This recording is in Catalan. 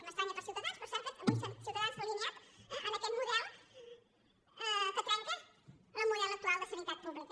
m’estranya per ciutadans però és cert que avui ciutadans s’ha alineat en aquest model que trenca el model actual de sanitat pública